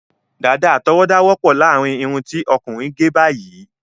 Dàda àtọwọda wọpọ láàrin irun ti ọkùnrin gé báyìí